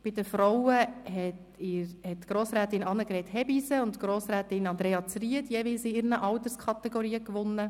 Bei den Frauen haben Grossrätin Hebeisen-Christen und Grossrätin Zryd jeweils in ihren Alterskategorien gewonnen.